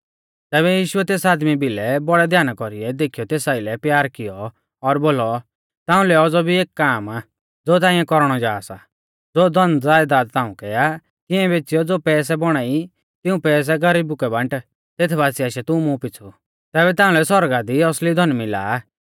तैबै यीशुऐ तेस आदमी भिलै बौड़ै ध्याना कौरीऐ देखीयौ तेस आइलै प्यार कियौ और बोलौ ताउंलै औज़ौ भी एक काम आ ज़ो ताइंऐ कौरणौ जा सा ज़ो धनज़यदात ताउंकै आ तिऐं बेच़ियौ ज़ो पैसै बौणा ई तिऊं पैसै गरीबु कै बांट तेथ बासिऐ आशै तू मुं पीछ़ु तैबै ताउंलै सौरगा दी असली धन मिला आ